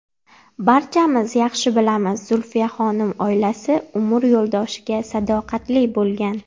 Barchamiz yaxshi bilamiz, Zulfiyaxonim oilasi, umr yo‘ldoshiga sadoqatli bo‘lgan.